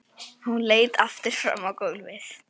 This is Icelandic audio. Hún leit aftur fram á gólfið.